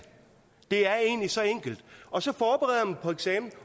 det er egentlig så enkelt og så forbereder man sig på eksamen